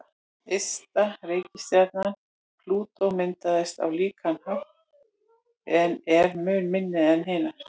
Ysta reikistjarnan, Plútó, myndaðist á líkan hátt en er mun minni en hinar.